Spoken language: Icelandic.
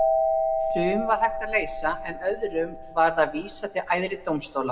Sum var hægt að leysa en öðrum varð að vísa til æðri dómstóla.